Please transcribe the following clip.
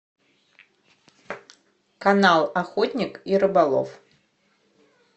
канал охотник и рыболов